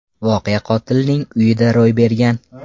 Voqea qotilning uyida ro‘y bergan.